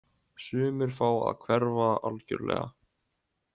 Sumir fá að hverfa algjörlega.